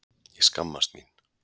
Ég skammast mín.